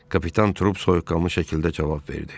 Kapitan Trup soyuqqanlı şəkildə cavab verdi.